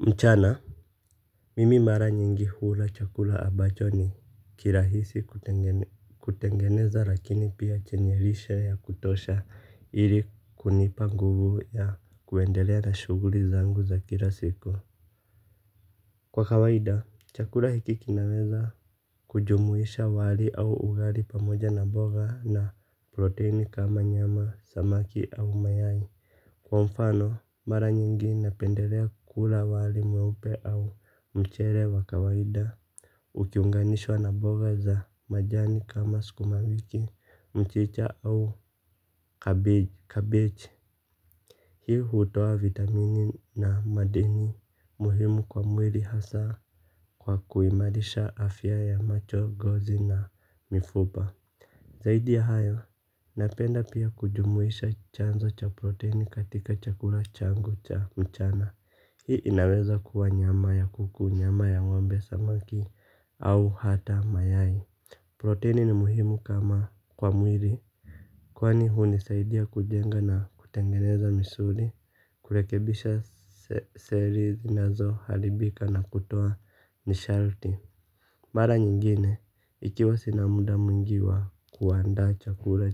Mchana. Mimi mara nyingi hula chakula ambacho ni kirahisi kutengeneza lakini pia chenye lishe ya kutosha ili kunipa nguvu ya kuendelea na shuguli zangu za kila siku. Kwa kawaida chakula hiki kinaweza kujumuisha wali au ugali pamoja na boga na proteini kama nyama samaki au mayai. Kwa mfano, mara nyingi napendelea kula wali mweupe au mchele wa kawaida. Ukiunganishwa na boga za majani kama skumawiki, mchicha au cabbage hii hutoa vitamini na madini muhimu kwa mwili hasa kwa kuimarisha afya ya macho ngozi na mifupa. Zaidi ya hayo, napenda pia kujumuisha chanzo cha proteini katika chakula changu cha mchana. Hii inaweza kuwa nyama ya kuku, nyama ya ngombe samaki au hata mayai. Proteini ni muhimu kama kwa mwili. Kwani hunisaidia kujenga na kutengeneza misuli, kurekebisha seri zinazoharibika na kutoa nisharti mara nyingine, ikiwa sina muda mwingi wa kuanda chakula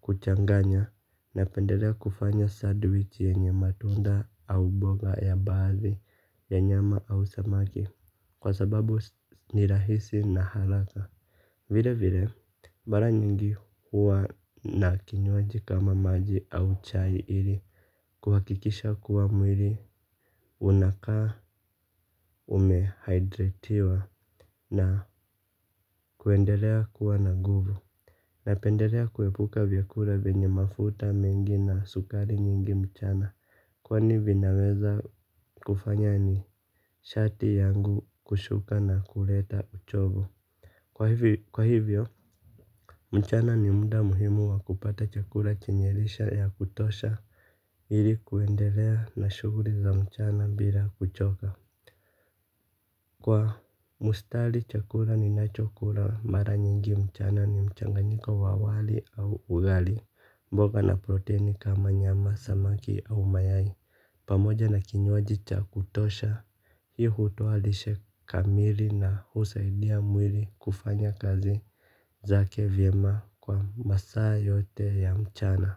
kuchanganya napendelea kufanya sadwichi yenye matunda au boga ya baazi ya nyama au samaki. Kwa sababu ni rahisi na haraka. Vile vile, mara nyingi huwa na kinywaji kama maji au chai ili kuhakikisha kuwa mwili unakaa umehydratiwa na kuendelea kuwa na nguvu. Napendelea kuepuka vyakula vyenye mafuta mengi na sukari nyingi mchana. Kwani vinaweza kufanya ni shati yangu kushuka na kuleta uchovu. Kwa hivyo mchana ni muda muhimu wa kupata chakula chenye lishe ya kutosha ili kuendelea na shuguli za mchana bila kuchoka. Kwa mustali chakura ninacho kula mara nyingi mchana ni mchanganiko wa wali au ugali, mboga na proteini kama nyama, samaki au mayai. Pamoja na kinywaji cha kutosha hii hutoa lishe kamili na husaidia mwili kufanya kazi zake vyema kwa masaa yote ya mchana.